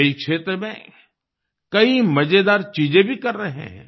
वे इस क्षेत्र में कई मजेदार चीजें भी कर रहे हैं